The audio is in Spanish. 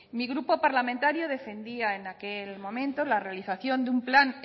mi grupo parlamentario defendía en aquel momento en la realización de un plan